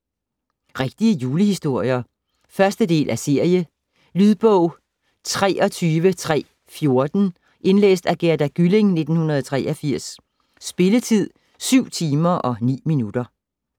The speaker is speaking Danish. Rigtige julehistorier 1. del af serie. Lydbog 23314 Indlæst af Gerda Gylling, 1983 Spilletid: 7 timer, 9 minutter.